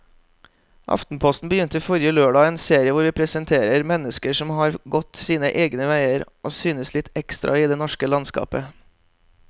Aftenposten begynte forrige lørdag en serie hvor vi presenterer mennesker som har gått sine egne veier og synes litt ekstra i det norske landskapet.